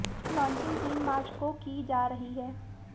इसकी लांचिंग तीन मार्च को की जा रही है